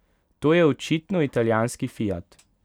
To je očitno italijanski Fiat.